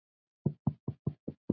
Kannski kemur að því.